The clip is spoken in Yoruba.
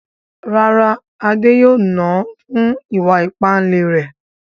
Rárá, Adé yóò nà án fún ìwà ìpáǹle rẹ̀.